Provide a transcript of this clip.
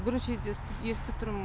бірінші рет естіп тұрм